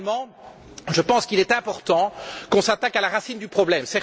Finalement, je pense qu'il est important de s'attaquer à la racine du problème.